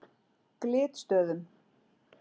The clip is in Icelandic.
Glitstöðum